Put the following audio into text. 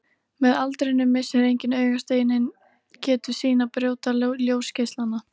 Með aldrinum missir einnig augasteinninn getu sína að brjóta ljósgeislana.